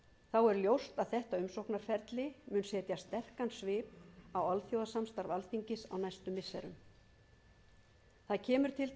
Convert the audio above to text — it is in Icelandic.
þá er ljóst að þetta umsóknarferli mun setja sterkan svip á alþjóðasamstarf alþingis á næstu missirum það kemur til